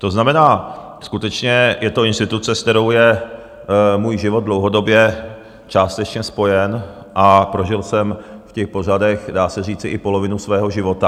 To znamená, skutečně je to instituce, s kterou je můj život dlouhodobě částečně spojen, a prožil jsem v těch pořadech, dá se říci, i polovinu svého života.